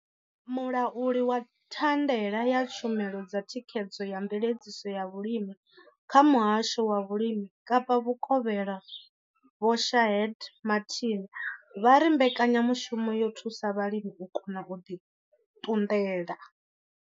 Mulauli wa thandela ya tshumelo dza thikhedzo na mveledziso ya vhulimi kha Muhasho wa Vhulimi Kapa Vhukovhela Vho Shaheed Martin vha ri mbekanyamushumo yo thusa vhalimi u kona u ḓi ṱunḓela.